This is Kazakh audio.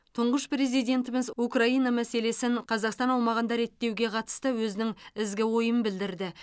тұңғыш президентіміз украина мәселесін қазақстан аумағында реттеуге қатысты өзінің ізгі ойын білдірді